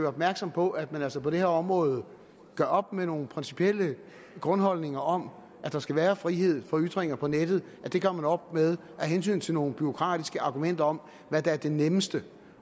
opmærksom på at man altså på det her område gør op med nogle principielle grundholdninger om at der skal være frihed for ytringer på nettet det gør man op med af hensyn til nogle bureaukratiske argumenter om hvad der er det nemmeste